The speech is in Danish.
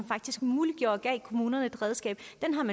faktisk muliggjorde og gav kommunerne et redskab